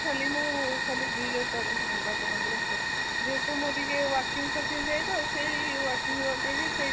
ଖାଲି ମୁଁ ଖାଲି ଦୁଇ ହଜାର ଚବିଶି ନିର୍ବାଚନ ଉପରେ ଯେହେତୁ ମୁଁ ଟିକେ working ଯାଏ ତ ସେଇ